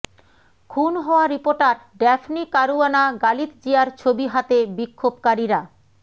খুন হওয়া reporter Daphne Caruana গালিৎজিয়ার ছবি হাতে বিক্ষোভকারীরা